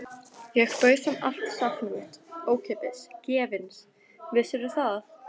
Ég bauð þeim allt safnið mitt, ókeypis, gefins, vissirðu það?